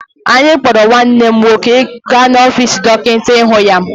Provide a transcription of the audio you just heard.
Anyị kpọrọ nwanne m nwoke gaa n'ọfiisi dọkịta ịhụ ya.